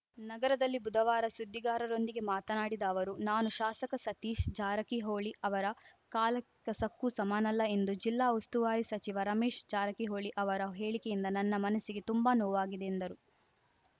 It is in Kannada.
ನಗರದಲ್ಲಿ ಬುಧವಾರ ಸುದ್ದಿಗಾರರೊಂದಿಗೆ ಮಾತನಾಡಿದ ಅವರು ನಾನು ಶಾಸಕ ಸತೀಶ್ ಜಾರಕಿಹೊಳಿ ಅವರ ಕಾಲ ಕಸಕ್ಕೂ ಸಮನಲ್ಲ ಎಂದು ಜಿಲ್ಲಾ ಉಸ್ತುವಾರಿ ಸಚಿವ ರಮೇಶ್ ಜಾರಕಿಹೊಳಿ ಅವರ ಹೇಳಿಕೆಯಿಂದ ನನ್ನ ಮನಸ್ಸಿಗೆ ತುಂಬಾ ನೋವಾಗಿದೆ ಎಂದರು